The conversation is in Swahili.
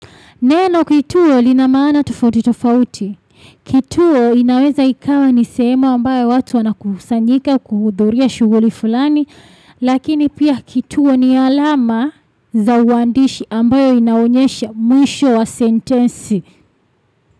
Neno kituo lina maana tofauti tofauti. Kituo inaweza ikawa ni sehemu ambayo watu wanakusanyika kuhudhuria shughuli fulani. Lakini pia kituo ni alama za uandishi ambayo inaonyesha mwisho wa sentensi.